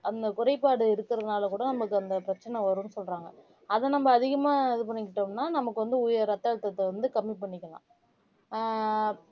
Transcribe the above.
அந்த குறைபாடு இருக்கிறதுனால கூட நமக்கு அந்த பிரச்சனை வரும்ன்னு சொல்றாங்க அதை நம்ம அதிகமா இது பண்ணிக்கிட்டோம்னா நமக்கு வந்து உய இரத்த அழுத்தத்தை வந்து கம்மி பண்ணிக்கலாம் ஆஹ்